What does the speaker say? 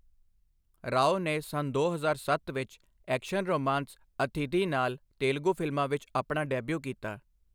ਰਾਓ ਨੇ ਸੰਨ ਦੋ ਹਜ਼ਾਰ ਸੱਤ ਵਿੱਚ ਐਕਸ਼ਨ ਰੋਮਾਂਸ ਅਥਿਧੀ ਨਾਲ ਤੇਲਗੂ ਫ਼ਿਲਮਾਂ ਵਿੱਚ ਆਪਣਾ ਡੈਬਿਊ ਕੀਤਾ।